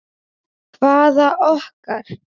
Hvaða okkar?